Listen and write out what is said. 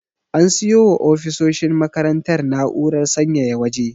An siyo wa ofisoshin makarantar na'urar sanyaya waje.